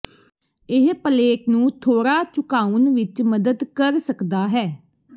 ਇਹ ਪਲੇਟ ਨੂੰ ਥੋੜਾ ਝੁਕਾਉਣ ਵਿੱਚ ਮਦਦ ਕਰ ਸਕਦਾ ਹੈ